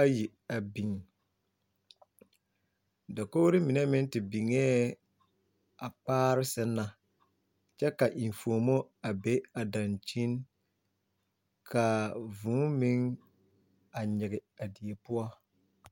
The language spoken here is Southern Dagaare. ayi a biŋ dakogre mine meŋ te biŋee a kpaare sɛŋ na kyɛ ka enfuomo a be a dankyini kaa vūū meŋ a nyige a die poɔ.